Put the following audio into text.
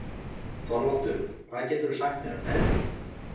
Þorvaldur, hvað geturðu sagt mér um veðrið?